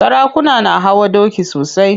Sarakuna na hawa doki sosai.